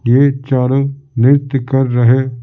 ये चारों नृत्य कर रहे--